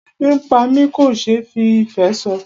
Ebi ń pá mi kò ṣe fí ìfé sọ.